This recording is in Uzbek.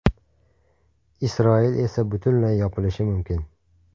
Isroil esa butunlay yopilishi mumkin.